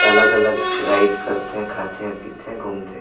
अलग-अलग राइड कर थे खाथे पिथे घूम थे।